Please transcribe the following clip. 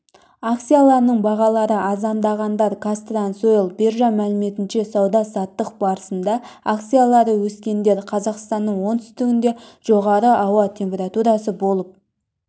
акцияларының бағалары арзандағандар казтрансойл биржа мәліметінше сауда-саттық барысында акциялары өскендер қазақстанның оңтүстігінде жоғарғы ауа температурасы болып